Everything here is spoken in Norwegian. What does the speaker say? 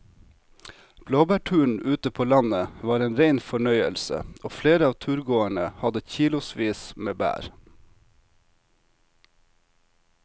Blåbærturen ute på landet var en rein fornøyelse og flere av turgåerene hadde kilosvis med bær.